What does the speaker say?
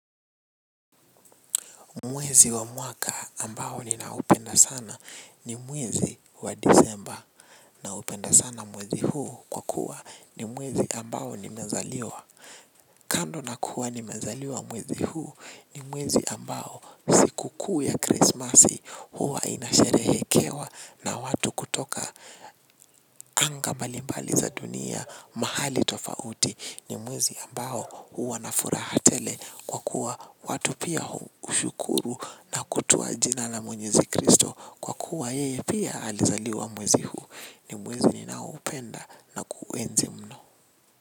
Mwezi wa mwaka ambao ninaupenda sana ni mwezi wa disemba naupenda sana mwezi huu kwa kuwa ni mwezi ambao nimezaliwa. Kando na kuwa nimezaliwa mwezi huu ni mwezi ambao sikukuu ya krismasi huwa inasherehekewa na watu kutoka. Anga mbalimbali za dunia mahali tofauti ni mwezi ambao huwa na furaha tele kwa kuwa watu pia ushukuru na kutua jina la mwenyezi kristo kwa kuwa yeye pia alizaliwa mwezi huu ni mwezi ninaoupenda na kuenzi mno.